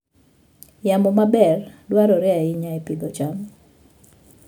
Yamo maber dwarore ahinya e pidho cham.